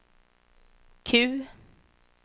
Q